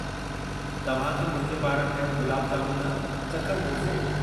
तव्हां खे मुंहिंजे पारां ठहियलु गुलाब जामुननि चखणु घुरिजे।